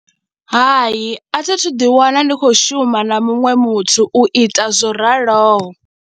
Hai, a thi thu ḓiwana ndi khou shuma na muṅwe muthu u ita zwo raloho.